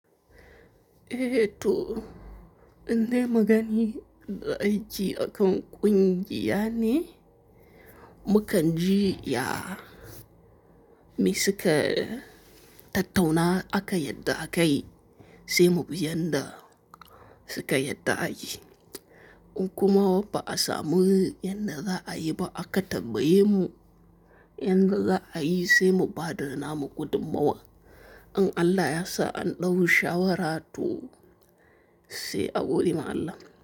Eh to, inda magani da aji akan ƙungiya ne, mu kan ji ya, me su ka tattauna aka yarda a kai, sai mu bi yadda suka yarda a yi. In kuma wapa a samu yadda za a yi ba aka tabbaye mu yadda za a yi sai mu bada namu gudummawa. In Allah yasa an ɗau shawara tu sai a goge ma Allah.